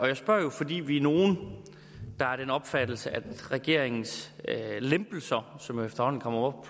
jeg spørger fordi vi er nogle der er af den opfattelse at regeringens lempelser af som efterhånden kommer